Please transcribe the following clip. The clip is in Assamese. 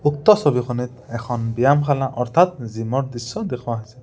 উক্ত ছবিখনিত এখন ব্যায়ামশালা অৰ্থাৎ জিমৰ দৃশ্য দেখুওৱা হৈছে।